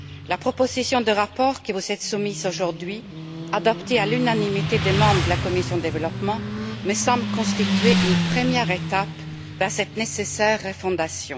La proposition de rapport qui vous est soumise aujourd'hui, adoptée à l'unanimité des membres de la commission du développement, me semble constituer une première étape vers cette nécessaire refondation.